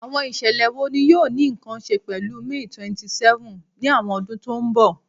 Awọn iṣẹlẹ wo ni yoo ni nkan ṣe pẹlu May 27th ni awọn ọdun to nbọ?